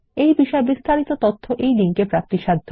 এই বিষয় বিস্তারিত তথ্য এই লিঙ্ক এ প্রাপ্তিসাধ্য